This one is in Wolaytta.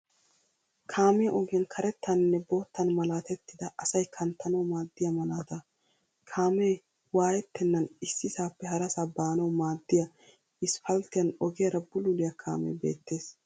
Kaamiya ogiyan karettaaninne boottan malaatettida asay kanttanawu maaddiya malaataa. Kaamee waayettennan issisaappe harasaa baanawu maaddiya isipalttiyan ogiyaara bululiya kaamee beettes.